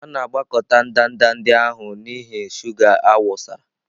A na-agbakọta ndanda ndị ahụ n'ihi shuga a wụsara.